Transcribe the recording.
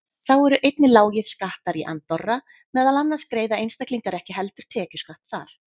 Þá eru einnig lágir skattar í Andorra, meðal annars greiða einstaklingar ekki heldur tekjuskatt þar.